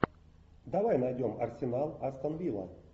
давай найдем арсенал астон вилла